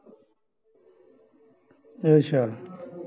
ਅੱਛਾ